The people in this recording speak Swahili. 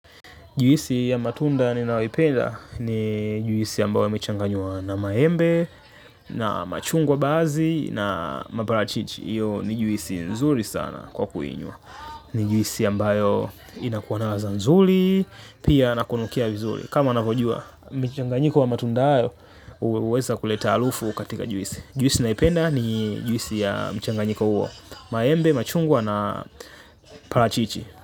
Juisi ya matunda ninayoipenda ni juisi ambayo imechanganywa na maembe na machungwa baadhi na maparachichi hio ni juisi nzuri sana kwa kuinywa. Ni juisi ambayo inakua na ladha nzuri, pia na kunukia vizuri. Kama anavyojua, michanganyiko wa matunda hayo huweza kuleta harufu katika juisi. Juisi naipenda ni juisi ya michanganyiko huo, maembe, machungwa na parachichi.